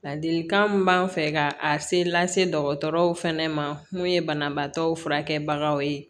Ladilikan min b'an fɛ ka a se lase dɔgɔtɔrɔw fana ma mun ye banabaatɔ furakɛbagaw ye